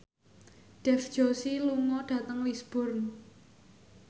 Dev Joshi lunga dhateng Lisburn